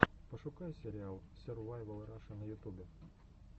пошукай сериал сервайвал раша на ютубе